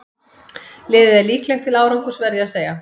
Liðið er líklegt til árangurs verð ég að segja.